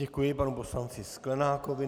Děkuji panu poslanci Sklenákovi.